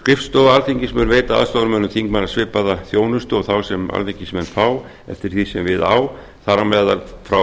skrifstofa alþingis mun veita aðstoðarmönnum þingmanna svipaða þjónustu og þá sem alþingismenn fá eftir því sem við á þar á meðal frá